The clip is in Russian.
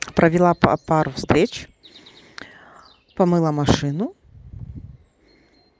провела п пару встреч помыла машину